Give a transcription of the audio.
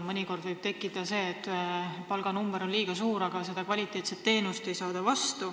Mõnikord on tunne, et palganumber on liiga suur – kvaliteetset teenust ei ole.